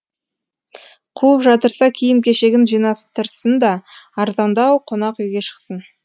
қуып жатырса киім кешегін жинастырсын да арзандау қонақ үйге шықсын